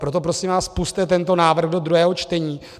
Proto prosím vás, pusťte tento návrh do druhého čtení.